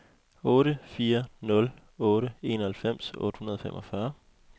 otte fire nul otte enoghalvfems otte hundrede og femogfyrre